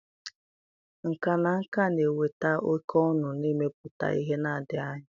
Nkà na nka na-eweta oke ọṅụ na imepụta ihe na ndụ anyị.